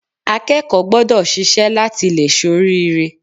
Akẹ́kọ̀ọ́ gbọ́dọ̀ ṣiṣẹ́ láti lè ṣoríire